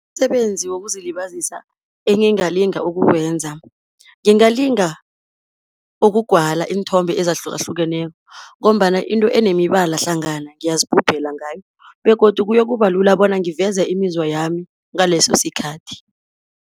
Umsebenzi wokuzilibazisa engingalinga ukuwenza, ngingalinga ukugwala iinthombe ezahlukahlukeneko, ngombana into enemibala hlangana ngiyazigubhela ngayo begodu kuyokuba lula bona ngiveze imizwa yami ngaleso sikhathi.